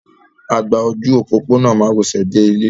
A gba ojú òpópónà márosẹ̀ dé ilé.